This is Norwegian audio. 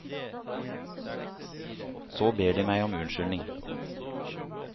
Så ber de meg om unnskyldning.